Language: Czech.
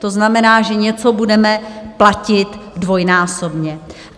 To znamená, že něco budeme platit dvojnásobně.